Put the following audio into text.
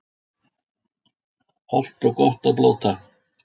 Hollt og gott að blóta